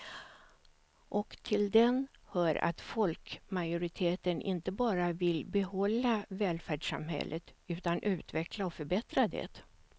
Och till den hör att folkmajoriteten inte bara vill behålla välfärdssamhället utan utveckla och förbättra det.